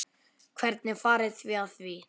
Hvernig farið þið að því?